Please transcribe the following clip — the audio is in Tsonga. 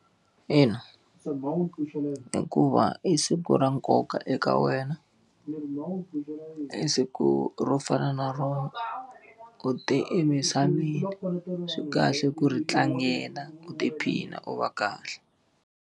Ina hikuva i siku ra nkoka eka wena. I siku ro fana na rona u te emisaveni. Swi kahle ku ri tlangela u tiphina u va kahle.